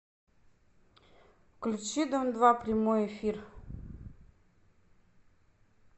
включи дом два прямой эфир